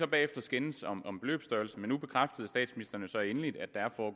bagefter skændes om om beløbsstørrelsen men nu bekræftede statsministeren så endelig